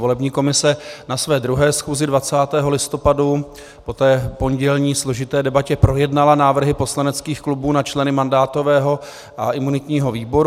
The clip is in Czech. Volební komise na své druhé schůzi 20. listopadu po té pondělní složité debatě projednala návrhy poslaneckých klubů na členy mandátového a imunitního výboru.